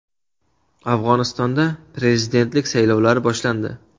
Afg‘onistonda prezidentlik saylovlari boshlandi.